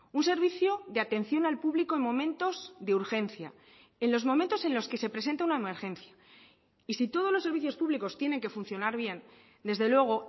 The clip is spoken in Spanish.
un servicio de atención al público en momentos de urgencia en los momentos en los que se presenta una emergencia y si todos los servicios públicos tienen que funcionar bien desde luego